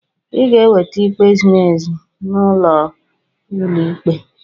Ị ga-enweta ikpe ziri ezi n'aka ụlọ ikpe.